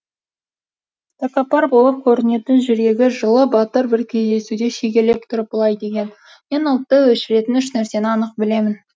тәкаппар болып көрінетін жүрегі жылы батыр бір кездесуде шегелеп тұрып былай деген мен ұлтты өшіретін үш нәрсені анық білемін